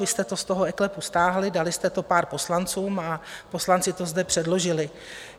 Vy jste to z toho eKLEPu stáhli, dali jste to pár poslancům a poslanci to zde předložili.